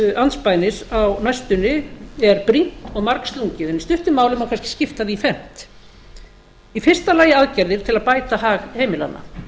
andspænis á næstunni er brýnt og margslungið en í stuttu máli má kannski skipta því í fernt í fyrsta lagi aðgerðir til að bæta hag heimilanna